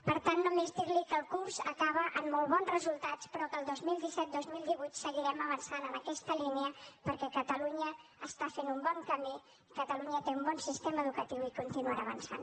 per tant només dir li que el curs acaba amb molt bons resultats però que el vint milions cent i setanta dos mil divuit seguirem avançant en aquesta línia perquè catalunya està fent un bon camí i catalunya té un bon sistema educatiu i continuarà avançant